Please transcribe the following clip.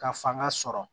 Ka fanga sɔrɔ